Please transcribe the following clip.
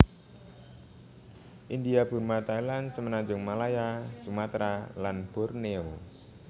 India Burma Thailand Semenanjung Malaya Sumatra lan Borneo